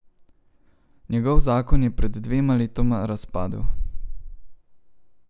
Njegov zakon je pred dvema letoma razpadel.